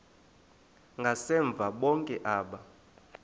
ngasemva bonke aba